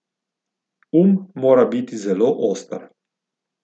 Um mora biti zelo oster.